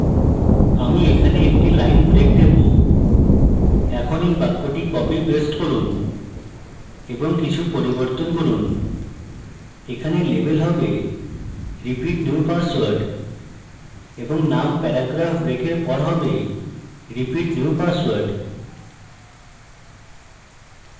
আমি এখানে একটি line break দেবো এখন এই বাক্যটি copy paste করুন এবং কিছু পরিবর্তন করন এখানে label হবে repeat new password এবং name প্যারাগ্রাফ break পর হবে repeat new password